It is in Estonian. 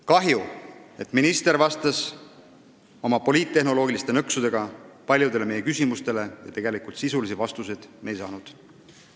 Kahju, et minister vastas paljudele meie küsimustele poliittehnoloogilisi nõkse kasutades ja tegelikult sisulisi vastuseid me ei saanud.